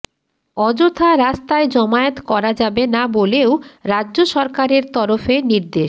অযথা রাস্তায় জমায়েত করা যাবে না বলেও রাজ্য সরকারের তরফে নির্দেশ